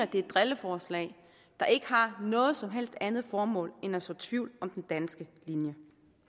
det er et drilleforslag der ikke har noget som helst andet formål end at så tvivl om den danske linje